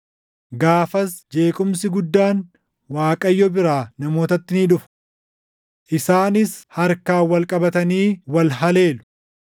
Gaafas jeequmsi guddaan Waaqayyo biraa namootatti ni dhufa. Isaanis harkaan wal qabatanii wal haleelu